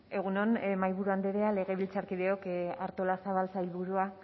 egun on mahaiburu andrea legebiltzarkideok artolazabal sailburua